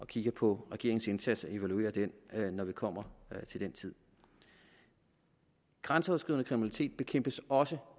kigger på regeringens indsats og evaluerer den når vi kommer til den tid grænseoverskridende kriminalitet bekæmpes også